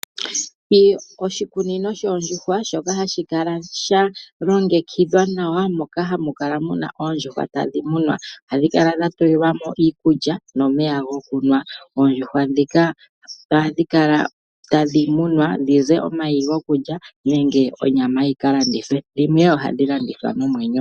Oshikunino shoondjuhwa shoka hashi kala sha longekidhwa nawa. Moka hamu kala muna tadhi munwa. Ohadhi kala dha tulilwa mo iikulya nomeya gokunwa. Oondjuhwa ndhika ohadhi kala tadhi munwa dhize omayi gokulya nenge onyama yika landithwe dhimwe ohadhi landithwa nomwenyo.